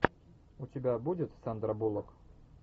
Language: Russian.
у тебя будет сандра буллок